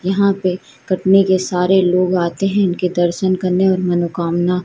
यहां पे कटनी के सारे लोग आते हैं ईनके दर्शन करने और मनोकामना--